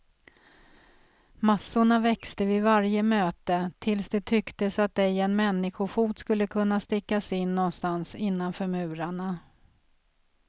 Massorna växte vid varje möte, tills det tycktes att ej en människofot skulle kunna stickas in någonstans innanför murarna.